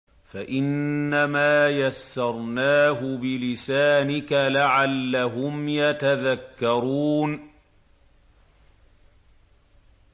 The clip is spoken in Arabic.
فَإِنَّمَا يَسَّرْنَاهُ بِلِسَانِكَ لَعَلَّهُمْ يَتَذَكَّرُونَ